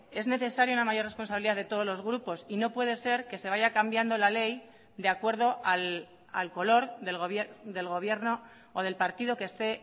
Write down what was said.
es necesaria una mayor responsabilidad de todos los grupos y no puede ser que se vaya cambiando la ley de acuerdo al color del gobierno o del partido que esté